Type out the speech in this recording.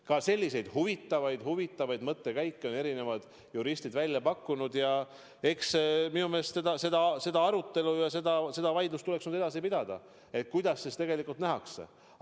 Ka selliseid huvitavaid mõttekäike on eri juristid välja pakkunud ja minu meelest seda arutelu, seda vaidlust tuleks edasi pidada, kuidas seda tegelikult nähakse.